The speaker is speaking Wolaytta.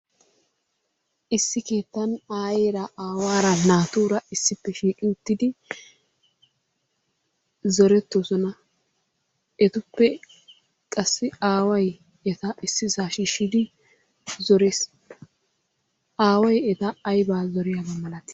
Issi keettan aayyera, aawara, naatura issipe shiiqi uttidi zorettoosona, etupe qassi aaway eta issisa shiishshi uttidi zorees. aaway eta aybba zoriyaaba malatii?